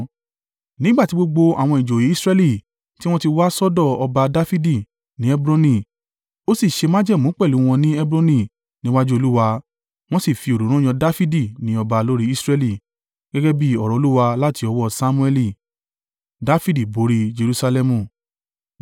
Nígbà tí gbogbo àwọn ìjòyè Israẹli tí wọ́n ti wá sọ́dọ̀ ọba Dafidi ni Hebroni. Ó sì ṣe májẹ̀mú pẹ̀lú wọn ní Hebroni níwájú Olúwa, wọ́n sì fi òróró yan Dafidi ní ọba lórí Israẹli, gẹ́gẹ́ bí ọ̀rọ̀ Olúwa láti ọwọ́ Samuẹli.